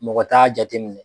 Mɔgɔ t'a jateminɛ.